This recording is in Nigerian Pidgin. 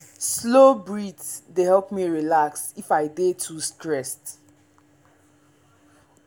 slow breath dey help me relax if i dey too stressed.